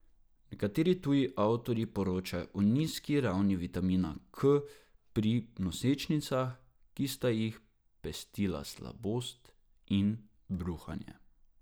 Nekateri tuji avtorji poročajo o nizki ravni vitamina K pri nosečnicah, ki sta jih pestila slabost in bruhanje.